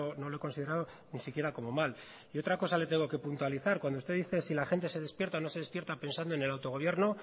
no lo he considerado ni siquiera como mal y otra cosa le tengo que puntualizar cuando usted dice si la gente se despierta o no se despierta pensando en el autogobierno